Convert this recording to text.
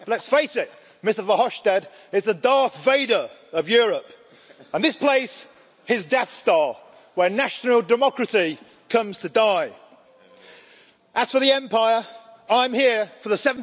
Let's face it, Mr Verhofstadt is the Darth Vader of Europe and this place is his Death Star, where national democracy comes to die. As for the Empire, I'm here for the